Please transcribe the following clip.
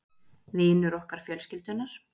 Vinur okkar fjölskyldunnar